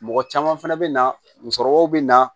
Mɔgɔ caman fɛnɛ bɛ na musokɔrɔbaw bɛ na